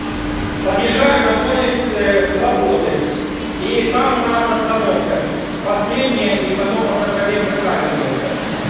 подъезжаем на площадь с свободы и там у нас остановка последняя и потом автопробег заканчивается